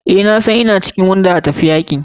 Eh nasan ina ɗaya da ga cikin wanda za a aika filin yaki.